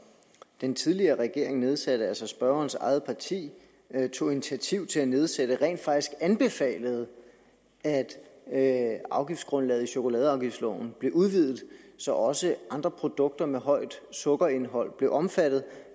den tidligere regering nedsatte altså spørgerens eget parti tog initiativ til at nedsætte rent faktisk anbefalede at at afgiftsgrundlaget i chokoladeafgiftsloven blev udvidet så også andre produkter med højt sukkerindhold blev omfattet